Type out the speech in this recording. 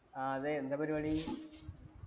ആ അതെ എന്താ പരിപാടി